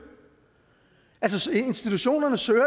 institutionerne søger